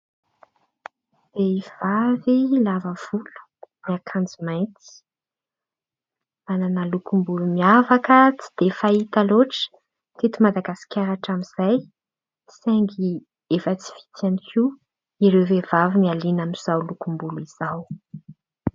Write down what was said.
Vehivavy lavavolo, miakanjo mainty. Manana lokom-bolo miavaka, tsy dia fahita loatra teto Madagasikara hatramin'izay, saingy efa tsy vitsy ihany koa ireo vehivavy mihaliana amin'izao lokom-bolo izao.